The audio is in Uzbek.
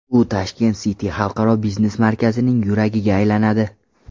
U Tashkent City Xalqaro biznes markazining yuragiga aylanadi.